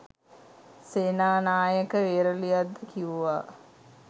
සේනානායක වේරලියද්ද කිව්වා